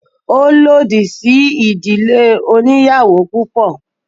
Ó lòdì sí ìdílé oníyàwò púpọ̀.